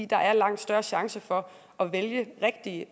der er langt større chance for at vælge rigtige